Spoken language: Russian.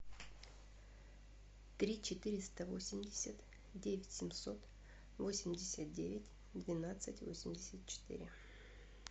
три четыреста восемьдесят девять семьсот восемьдесят девять двенадцать восемьдесят четыре